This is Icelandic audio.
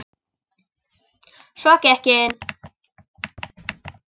Svo gekk ég inn.